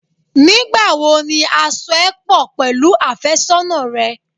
Nígbà wo ni a so ẹ pọ̀ pẹ̀lú àfẹ́sọ́nà rẹ?